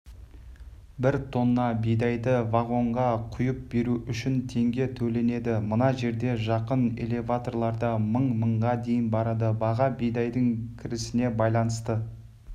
бір тонна бидайды вагонға құйып беру үшін теңге төленеді мына жерде жақын элевторларда мың мыңға дейін барады баға бидайдың кірісіне байланысты